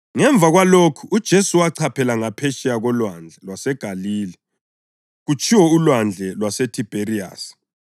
Ngemva kwalokhu uJesu wachaphela ngaphetsheya koLwandle lwaseGalile (kutshiwo uLwandle lwaseThibheriyasi),